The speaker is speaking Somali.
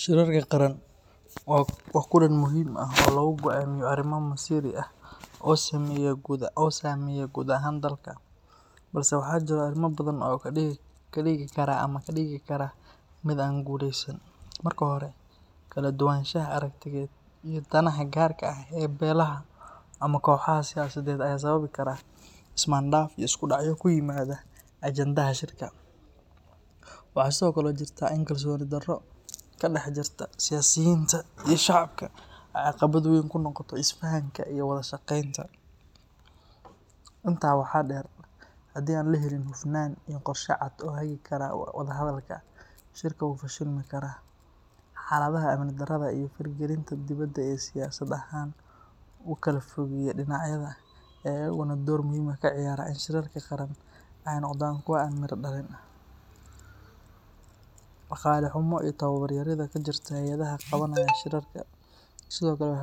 Sharuucya qaran waa kulan muhiim oo sameeye gudaha dulka, marka hore danaha gaarka ee beelaha, ayaa sababi karaa dacdo, shacabka wada shaqeenta, waxaa laheli karo fashil, xalada amni darada, oona door muhiim ah kaciyaartaa inaay noqdaan kuwa